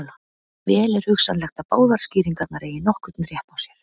Vel er hugsanlegt að báðar skýringarnar eigi nokkurn rétt á sér.